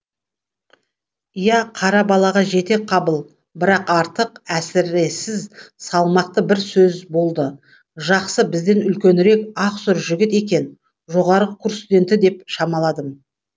иә қара балаға жете қабыл бірақ артық әсіресіз салмақты бір сөз болды жақсы бізден үлкенірек ақсұр жігіт екен жоғарғы курс студенті деп шамаладым